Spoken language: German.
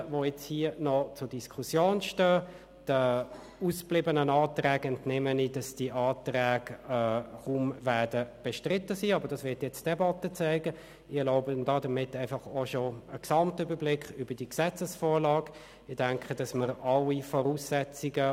Hier haben wir gemerkt, dass es richtig ist, das KEnG auf das neue Energiegesetz des Bundes (EnG) abzustützen.